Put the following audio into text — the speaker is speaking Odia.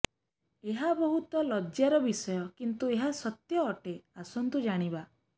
ଏହା ବହୁତ ଲଜ୍ୟା ର ବିଷୟ କିନ୍ତୁ ଏହା ସତ୍ୟ ଅଟେ ଆସନ୍ତୁ ଜାଣିବା